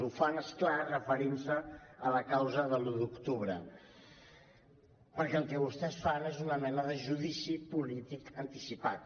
ho fan és clar referint se a la causa de l’un d’octubre perquè el que vostès fan és una mena de judici polític anticipat